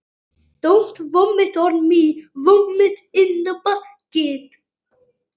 Og hvernig músík var þetta?